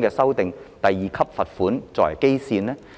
的第2級罰款作為基準？